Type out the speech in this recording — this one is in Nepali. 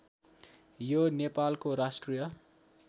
यो नेपालको राष्ट्रिय